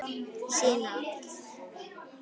Sína átt.